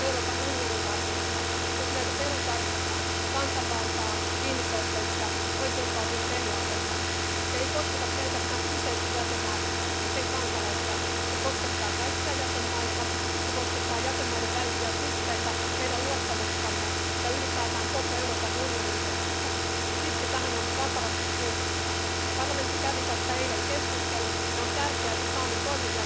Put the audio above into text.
Problema noastră este de a avea această coeziune socială, creștere, prosperitate, pentru a putea să avem și pace în Uniunea Europeană și echitate. Și de aceea sper, domnule comisar, că dumneavoastră care cunoașteți bine țara mea veți ține cont de ceea ce au spus și colegii mei, și anume România să intre în spațiul Schengen și România să fie bine tratată, pentru că, până la urmă, avem același carnet de intrare în acest club foarte frumos, Uniunea Europeană.